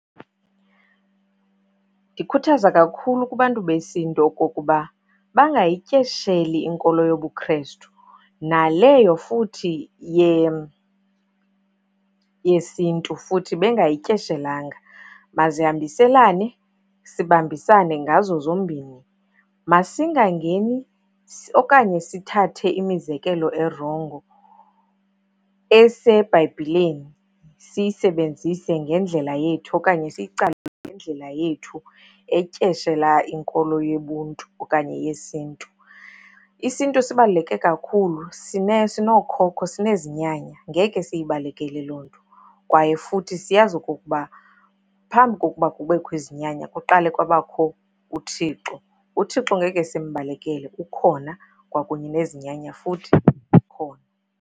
Ndikhuthaza kakhulu kubantu besiNtu okokuba bangayityesheli inkolo yobuKrestu, naleyo futhi yesiNtu futhi bengayityeshelanga. Mazihambiselana, sibambisane ngazo zombini. Masingangeni okanye sithathe imizekelo erongo eseBhayibhileni, siyisebenzise ngendlela yethu okanye ngendlela yethu etyeshela inkolo yobuNtu okanye yesiNtu. IsiNtu sibaluleke kakhulu sinookhokho, sinezinyanya ngeke siyibalekele loo nto. Kwaye futhi siyazi okokuba phambi kokuba kubekho izinyanya, kuqala kwabakho uThixo. UThixo ngeke simbalekele ukhona, kwakunye nezinyanya futhi khona.